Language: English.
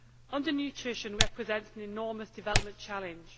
Undernutrition represents an enormous development challenge.